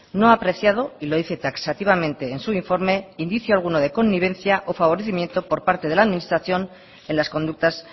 no ha apreciado y lo dice taxativamente en su informe indicio alguno de connivencia o favorecimiento por parte de la administración en las conductas